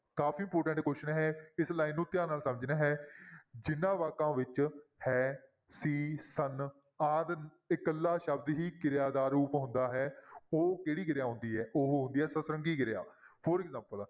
ਕਾਫ਼ੀ important question ਇਹ, ਇਸ line ਨੂੰ ਧਿਆਨ ਨਾਲ ਸਮਝਣਾ ਹੈ, ਜਿੰਨਾਂ ਵਾਕਾਂ ਵਿੱਚ ਹੈ, ਸੀ, ਸਨ ਆਦਿ ਇਕੱਲਾ ਸ਼ਬਦ ਹੀ ਕਿਰਿਆ ਦਾ ਰੂਪ ਹੁੰਦਾ ਹੈ ਉਹ ਕਿਹੜੀ ਕਿਰਿਆ ਹੁੰਦੀ ਹੈ ਉਹ ਹੁੰਦੀ ਹੈ ਸਤਰੰਗੀ ਕਿਰਿਆ for example